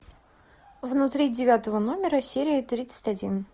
внутри девятого номера серия тридцать один